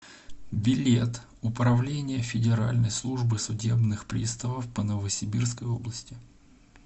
билет управление федеральной службы судебных приставов по новосибирской области